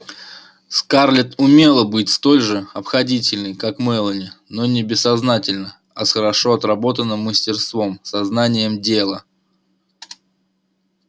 скарлетт умела быть столь же обходительной как мелани но не бессознательно а с хорошо отработанным мастерством со знанием дела